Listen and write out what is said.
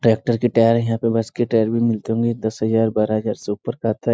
Tractor के tyre यहाँ पे बस के टायर भी मिलते होंगे दस हज़ार बारह हज़ार से ऊपर का आता है।